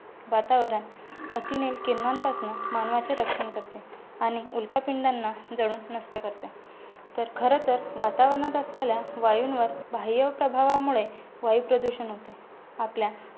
वातावरण अतिनील किरणांपासनं मानवाचे रक्षण करते. आणि उल्का पिंडांना जळून नष्ट करतात. तर खरंतर वातावणात असलेल्या वायुंवर बाह्य प्रभावामुळे वायुप्रदूषण होते.